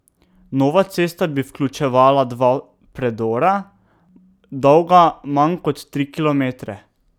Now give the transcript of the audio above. Nova cesta bi vključevala dva predora, dolga manj kot tri kilometre.